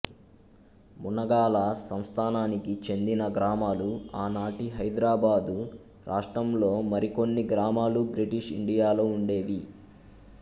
మునగాల సంస్థానానికి చెందిన గ్రామాలు ఆనాటి హైదరాబాద్ రాష్ట్రం లో మరికొన్ని గ్రామాలు బ్రిటీషు ఇండియాలో ఉండేవి